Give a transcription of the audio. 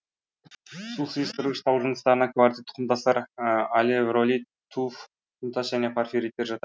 су сыйыстырғыш тау жыныстарына кварцит құмтастар алевролит туф құмтас және порфириттер жатады